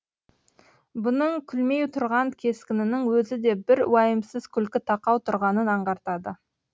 бұның күлмей тұрған кескінінің өзі де бір уайымсыз күлкі тақау тұрғанын аңғартады